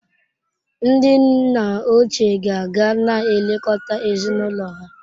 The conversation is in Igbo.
Ndị nna ochie ka ga na-elekọta ezinụlọ ha.